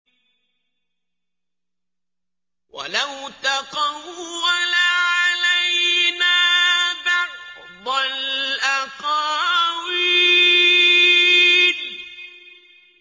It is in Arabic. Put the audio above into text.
وَلَوْ تَقَوَّلَ عَلَيْنَا بَعْضَ الْأَقَاوِيلِ